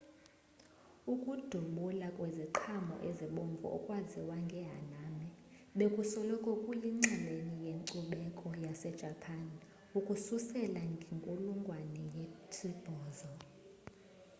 ukudubula kweziqhamo ezibomvu okwaziwa njengehanami bekusoloko kuyinxalenye yenkcubeko yasejapan ukususela ngenkulungwane ye-8